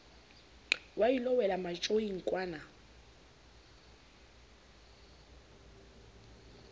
wa ilo wela matjoing kwana